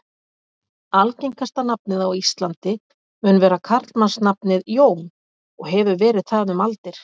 Algengasta nafnið á Íslandi mun vera karlmannsnafnið Jón og hefur verið það um aldir.